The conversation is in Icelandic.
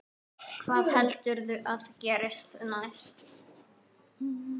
Hvað heldurðu að gerist næst?